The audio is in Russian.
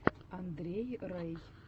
андрей рэй